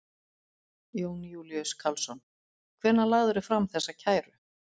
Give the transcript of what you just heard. Jón Júlíus Karlsson: Hvenær lagðirðu fram þessa kæru?